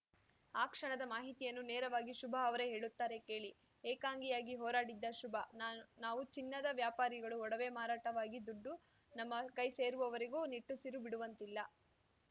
ಆ ಕ್ಷಣದ ಮಾಹಿತಿಯನ್ನು ನೇರವಾಗಿ ಶುಭ ಅವರೇ ಹೇಳುತ್ತಾರೆ ಕೇಳಿ ಏಕಾಂಗಿಯಾಗಿ ಹೋರಾಡಿದ್ದ ಶುಭ ನಾನ್ ನಾವು ಚಿನ್ನದ ವ್ಯಾಪಾರಿಗಳು ಒಡವೆ ಮಾರಾಟವಾಗಿ ದುಡ್ಡು ನಮ್ಮ ಕೈ ಸೇರುವವರೆಗೂ ನಿಟ್ಟುಸಿರು ಬಿಡುವಂತಿಲ್ಲ